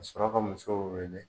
Ka suraka ka musow wele.